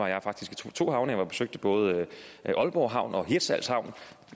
jeg faktisk to havne jeg besøgte både aalborg havn og hirtshals havn